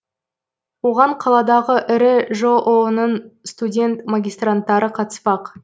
оған қаладағы ірі жоо ның студент магистранттары қатыспақ